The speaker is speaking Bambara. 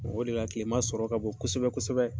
O de la kilema sɔrɔ ka bon kosɛbɛ kosɛbɛ.